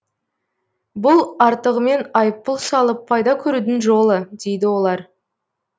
бұл артығымен айыппұл салып пайда көрудің жолы дейді олар